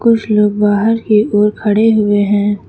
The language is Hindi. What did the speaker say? कुछ लोग बाहर की ओर खड़े हुए हैं।